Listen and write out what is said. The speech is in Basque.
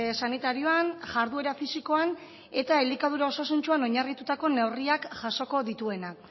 sanitarioan jarduera fisikoan eta elikadura osasuntsuan oinarritutako neurriak jasoko dituenak